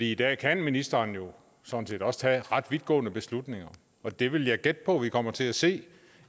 i dag kan ministeren jo sådan set også tage ret vidtgående beslutninger og det vil jeg gætte på vi kommer til at se